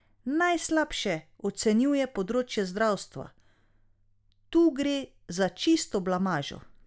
Najslabše ocenjuje področje zdravstva: "Tu gre za čisto blamažo.